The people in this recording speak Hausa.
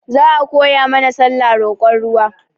Za a koya mana sallah roƙon ruwa